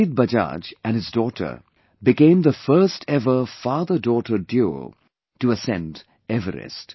Ajit Bajaj and his daughter became the first ever fatherdaughter duo to ascend Everest